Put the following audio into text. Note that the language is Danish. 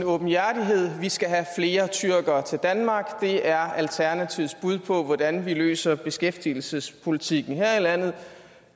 åbenhjertighed vi skal have flere tyrkere til danmark det er alternativets bud på hvordan vi løser beskæftigelsespolitikken her i landet